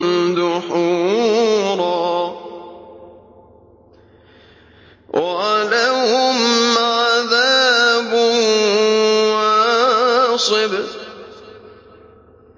دُحُورًا ۖ وَلَهُمْ عَذَابٌ وَاصِبٌ